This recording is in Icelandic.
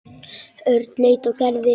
Örn leit á Gerði.